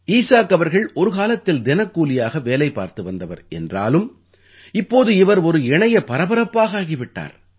ஈசாக் அவர்கள் ஒரு காலத்தில் தினக்கூலியாக வேலை பார்த்து வந்தவர் என்றாலும் இப்போது இவர் ஒரு இணைய பரபரப்பாக ஆகி விட்டார்